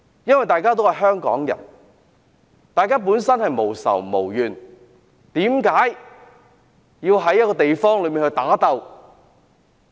我們都是香港人，大家無仇無怨，為何要在某個地方打鬥？